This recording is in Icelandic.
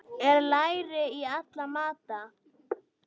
Er læri í alla mata?